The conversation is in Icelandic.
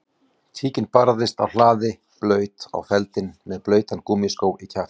Tíkin birtist á hlaði blaut á feldinn með blautan gúmmískó í kjaftinum